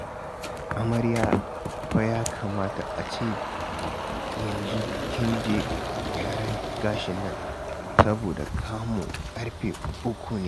Amarya fa ya kamata a ce i yanzu kin je gyaran gashin nan saboda kamu ƙarfe uku ne